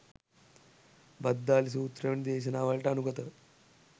භද්දාලී සූත්‍ර වැනි දේශනාවලට අනුගතව